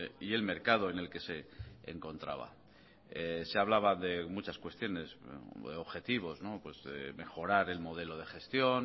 y el mercado en el que se encontraba se hablaba de muchas cuestiones objetivos mejorar el modelo de gestión